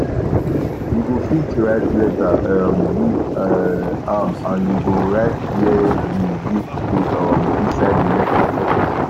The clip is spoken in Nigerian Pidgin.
you go fit write letter um give um am and you go write where the gift dey um inside the letter letter